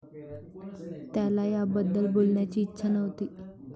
त्याला याबद्दल बोलण्याची इच्छा नव्हती.